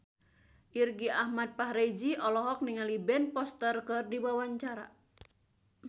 Irgi Ahmad Fahrezi olohok ningali Ben Foster keur diwawancara